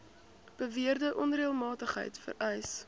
beweerde onreëlmatigheid vereis